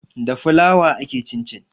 Da flour ake cincin